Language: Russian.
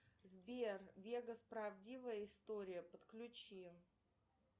сбер вегас правдивая история подключи